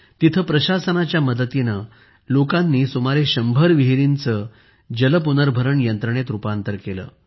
तेथे प्रशासनाच्या मदतीने लोकांनी सुमारे शंभर विहिरींचे जल पुनर्भरण यंत्रणेत रुपांतर केले